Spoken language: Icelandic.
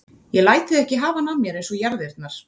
Ég læt þig ekki hafa hana af mér eins og jarðirnar.